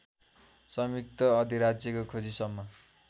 संयुक्त अधिराज्यको खोजीसम्म